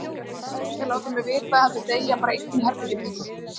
Hann ætlaði ekki að láta mig vita heldur deyja bara einn í herberginu sínu.